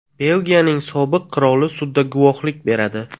Belgiyaning sobiq qiroli sudda guvohlik beradi.